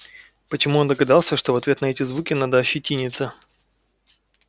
почему он догадался что в ответ на эти звуки надо ощетиниться